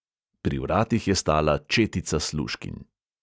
Pri vratih je stala četica služkinj.